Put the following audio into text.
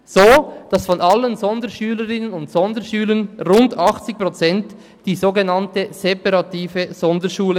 So besuchen rund 80 Prozent aller Sonderschülerinnen und Sonderschüler die sogenannte separative Sonderschule.